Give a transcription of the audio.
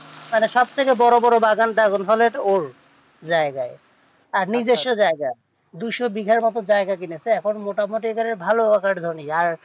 মানে সব থেকে বড়ো বড়ো বাগান তা dragon ফলের ওর জায়গায় তার নিজস্ব জায়গায় দুশো বিঘার মতো জায়গা কিনেচে এখন মোটা মুটি ধরেন ভালো আকার জমি